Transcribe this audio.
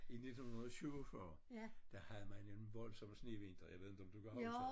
I 1947 der havde man en voldsom snevinter jeg ved inte om du kan huske